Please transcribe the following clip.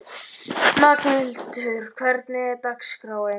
Magnhildur, hvernig er dagskráin?